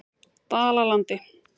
Dalalandi